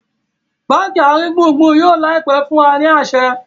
bánkì aringbungbun yóò láìpé fún a aṣẹ